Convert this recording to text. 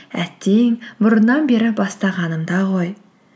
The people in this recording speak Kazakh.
әттең бұрыннан бері бастағанымда ғой